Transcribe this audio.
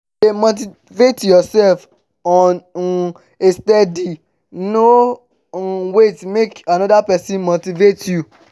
de motivate yourself on um a steady no um wait make another persin motivate you